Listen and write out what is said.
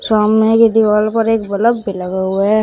सामने एक दीवाल पर एक बलब भी लगा हुआ है।